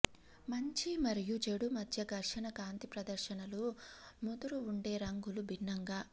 మంచి మరియు చెడు మధ్య ఘర్షణ కాంతి ప్రదర్శనలు ముదురు వుండే రంగులు భిన్నంగా